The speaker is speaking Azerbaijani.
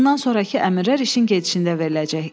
Bundan sonrakı əmirlər işin gedişində veriləcək.